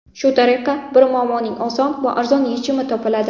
Shu tariqa bir muammoning oson va arzon yechimi topiladi.